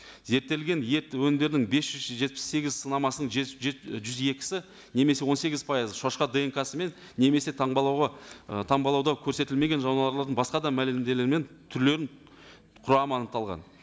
зерттелген ет өнімдерінің бес жүз жетпіс сегіз сынамасының жүз жүз екісі немесе он сегіз пайызы шошқа днк сымен немесе таңбалауға ы таңбалауда көрсетілмеген жануарлардың басқа да түрлерінің құрамы анықталған